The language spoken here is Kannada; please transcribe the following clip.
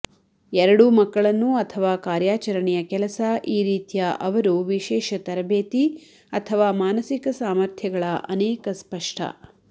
ಎರಡೂ ಮಕ್ಕಳನ್ನು ಅಥವಾ ಕಾರ್ಯಾಚರಣೆಯ ಕೆಲಸ ಈ ರೀತಿಯ ಅವರು ವಿಶೇಷ ತರಬೇತಿ ಅಥವಾ ಮಾನಸಿಕ ಸಾಮರ್ಥ್ಯಗಳ ಅನೇಕ ಸ್ಪಷ್ಟ